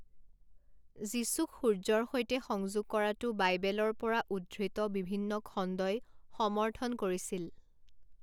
যীচুক সূৰ্য্যৰ সৈতে সংযোগ কৰাটো বাইবেলৰ পৰা উদ্ধৃত বিভিন্ন খণ্ডই সমৰ্থন কৰিছিল।